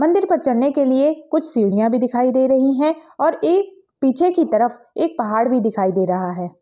मंदिर पर चढ़ने के लिए कुछ सीढ़ियाॅं भी दिखाई दे रही हैं और एक पीछे की तरफ एक पहाड़ भी दिखाई दे रहा है।